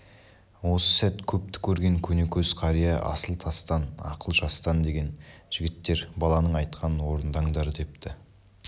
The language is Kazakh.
осы сәт көпті көрген көнекөз қария асыл тастан ақыл жастан деген жігіттер баланың айтқанын орындаңдар депті